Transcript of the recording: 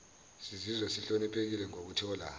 sizizwa sihloniphekile ngokuthola